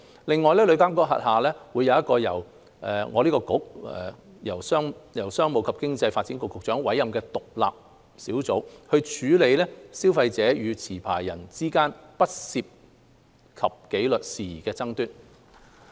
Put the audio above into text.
另外，旅監局轄下會有一個由商務及經濟發展局局長委任的獨立小組，處理消費者與持牌人之間不涉及紀律事宜的爭議。